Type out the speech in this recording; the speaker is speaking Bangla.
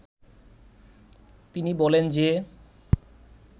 তিনি বলেন যে